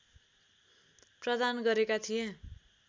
प्रदान गरेका थिए